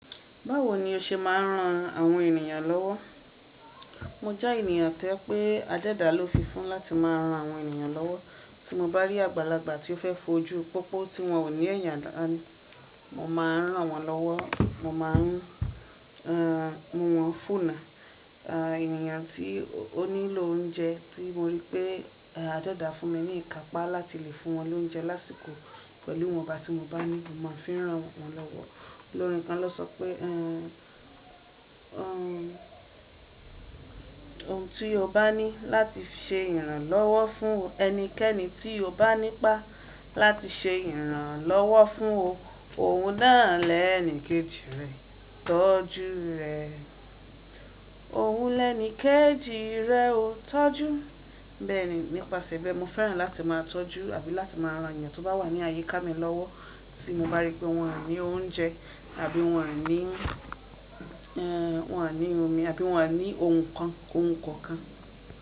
Báwo ni o ṣe máa ń ran àwọn ènìyàn lọ́wọ́? Mo jẹ́ ènìyàn tó je pé adẹ́dà ló fi fún láti máa ran àwọn ènìyàn lọ́wọ́. Tí mo bá rí àgbàlagbà tí ó fẹ́ fojú pópó tí wọn ò ní ẹ̀yàn, mo máa ń rán wọn lọ́wọ́. Mo má a ń mún wọn fúnna. Ènìyàn tí ó nílò oúnjẹ tí mo rí pé adẹ́dà fún mi ní ìkápá láti lè fún wọn lóúnjẹ lásìkò pẹ̀lú ìwọ̀nba tí mo bá ní, mo máa ń fi rán wọn lọ́wọ́. Òòlorin kan lọ́ sọ pé ohun tí o bá ní láti ṣe ìrànlọ́wọ́ fún ẹnikẹ́ni tí o bá nípa láti ṣe ìrànlọ́wọ́ fún o, òun na lẹ́ẹ̀níkẹ́jì rẹ tọ́jú rẹ. Òun lẹ́ẹ̀níkẹ́jì rẹ o tọ́jú. Bẹ́ẹ̀ni, nípasẹ̀ ìbẹ mo fẹ́ràn láti máa tọ́jú àbí láti máa ran ènìyàn tó bá wà ní àyíká mi lọ́wọ́ tí mo bá rí pé wọn à ní oúnjẹ àbí wọn ní wọn à ní omi àbí wọn à ní ohun kan ohun kankan.